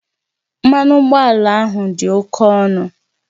Mmanụ ụgbọala ahụ dị oke ọnụ